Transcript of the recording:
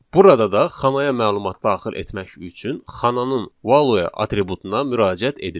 Burada da xanaya məlumat daxil etmək üçün xananın value atributuna müraciət edirik.